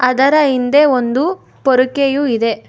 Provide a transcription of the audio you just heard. ಅದರ ಹಿಂದೆ ಒಂದು ಪೊರಕೆಯು ಇದೆ.